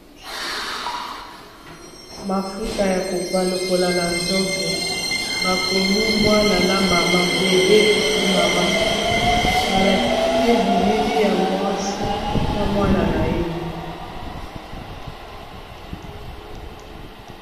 mafuta ya kopa lokola na nzoto bakomi mwana na mama bebe pe mama balatie bilili ya mwasi na mwana na ye